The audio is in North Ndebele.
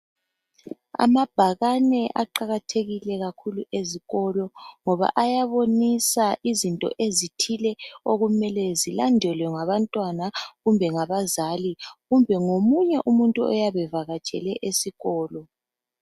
Amabhakani aqakathekile kakhulu ezkolo ngoba ayàbonisa izitho izithile okumele zilandelwe ngabantwana kumbe ngabazali, kumbe lomunye umuntu oyabe evakatshele eskolo.